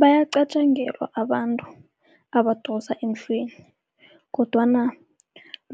Bayaqatjangelwa abantu abadosa emhlweni, kodwana